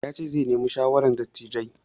Ya ce zai nemi shawaran dattijai.